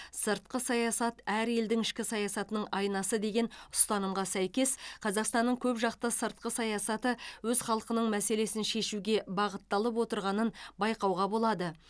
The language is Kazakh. сыртқы саясат әр елдің ішкі саясатының айнасы деген ұстанымға сәйкес қазақстанның көпжақты сыртқы саясаты өз халқының мәселесін шешуге бағытталып отырғанын байқауға болады